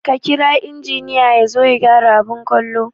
Ka kira injiniya yazo ya gyara abin kallo